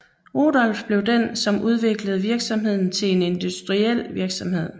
Rudolf blev den som udviklede virksomheden til en industriel virksomhed